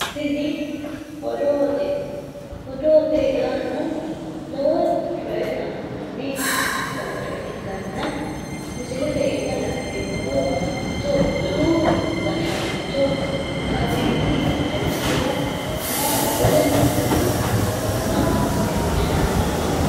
Tini odoote, odoote yaano lowo coye anfanni baayicho ikkanna misileete iima la'neemmohu itoophiyu gashshaancho abbiy ayimmedihanna woleno babbaxxitino manna leellishshanno misileeti